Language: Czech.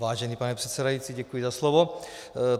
Vážený pane předsedající, děkuji za slovo.